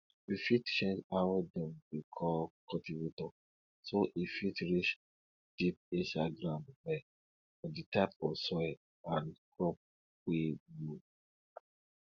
you fit change how dem dey call cultivator so e fit reach deep inside ground well for di type of soil and crop wey you